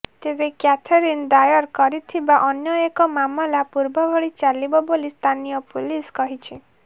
ତେବେ କ୍ୟାଥରିନ୍ ଦାୟର କରିଥିବା ଅନ୍ୟଏକ ମାମଲା ପୂର୍ବଭଳି ଚାଲିବ ବୋଲି ସ୍ଥାନୀୟ ପୁଲିସ କହିଛି